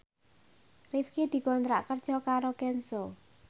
Rifqi dikontrak kerja karo Kenzo